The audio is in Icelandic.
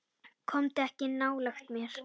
Komdu ekki nálægt mér.